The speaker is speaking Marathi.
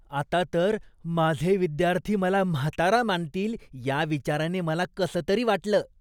आता तर, माझे विद्यार्थी मला प्राचीन मानतील या विचाराने मी उदास आहे.